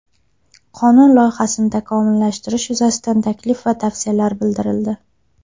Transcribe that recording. Qonun loyihasini takomillashtirish yuzasidan taklif va tavsiyalar bildirildi.